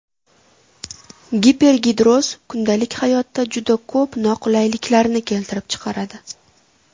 Gipergidroz kundalik hayotda juda ko‘p noqulayliklarni keltirib chiqaradi.